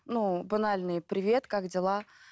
ну банальный привет как дела